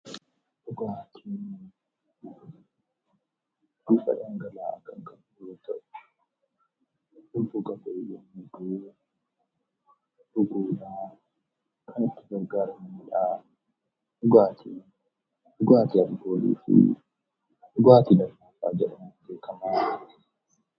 Dhugaatii Dhugaatiin waanta dhangala'aa yemmuu ta'u, yeroo dheebonne kan itti gargaaramnudha. Dhugaatiin dhugaatii alkoolii fi dhugaatii lallaafaa jedhamuun beekama.